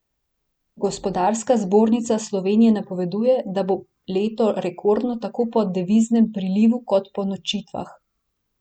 Gospodarska zbornica Slovenije napoveduje, da bo leto rekordno tako po deviznem prilivu kot po nočitvah.